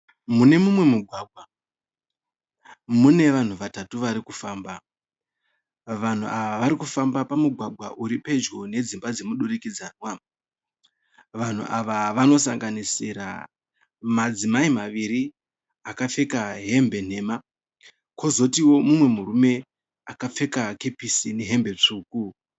Mune mumwe mugwagwa mune vanhu vatatu varikufamba. Vanhu ava varikufamba pamugwagwa uri pedyo nedzimba dzemudurikidzanwa. Vanhu ava vanosanganisira madzimai maviri akapfeka hembe nhema kwozotiwo umwe murume akapfeka kepesi nehembe tsvuku.